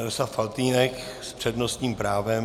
Jaroslav Faltýnek s přednostním právem.